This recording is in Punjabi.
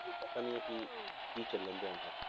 ਪਤਾ ਨੀ ਹੈ ਕਿ ਕੀ ਚੱਲਦਾ ਉਹਨਾਂ ਦਾ,